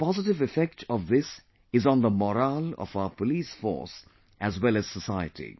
The most positive effect of this is on the morale of our police force as well as society